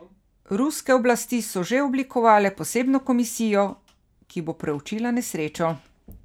Ruske oblasti so že oblikovale posebno komisijo, ki bo preučila nesrečo.